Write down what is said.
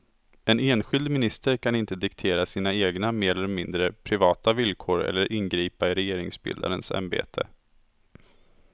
En enskild minister kan inte diktera sina egna mer eller mindre privata villkor eller ingripa i regeringsbildarens ämbete.